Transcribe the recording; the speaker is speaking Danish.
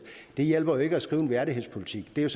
så hjælper ikke at skrive en værdighedspolitik det er